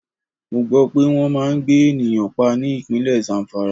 Mo gbó pé wọn máa ń gbé ènìyàn pa ní Ìpínlẹ̀ Zamfara.